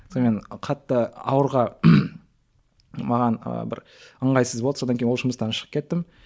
сонымен қатты ауырға маған і бір ыңғайсыз болды содан кейін ол жұмыстан шығып кеттім